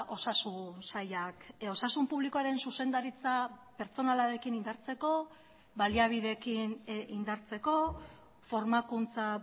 osasun sailak osasun publikoaren zuzendaritza pertsonalarekin indartzeko baliabideekin indartzeko formakuntza